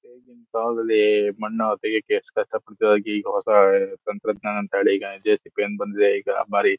ಈಗಿನ ಕಾಲದಲ್ಲಿ ಮಣ್ಣು ತೆಗೆಯೋಕೆ ಎಸ್ಟ್ ಕಷ್ಟ ಪಡ್ತಾ ಈಗ ಹೊಸ ತಂತ್ರಜ್ಞಾನ ಅಂತ ಜೆಸಿಬಿ ಅಂತ ಬಂದಿದೆ ಈಗ ಬಾರಿ.--